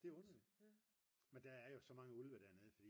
det er underligt men der er jo så mange ulve dernede